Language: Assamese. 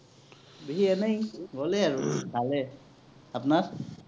বিহু এনেই গলেই আৰু ভালেই, আপোনাৰ?